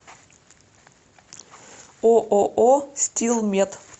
ооо стил мед